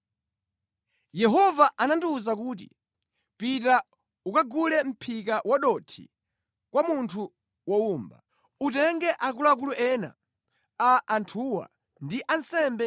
Yehova anandiwuza kuti, “Pita ukagule mʼphika wadothi kwa munthu wowumba. Utenge akuluakulu ena a anthuwa ndi ansembe